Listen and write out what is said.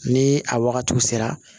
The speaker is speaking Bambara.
Ni a wagatiw sera